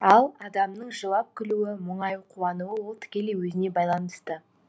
ал адамның жылап күлуі мұңайып қуануы ол тікелей өзіне байланысты